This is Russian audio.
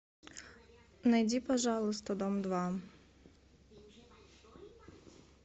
найди пожалуйста дом два